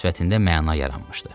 Sifətində məna yaranmışdı.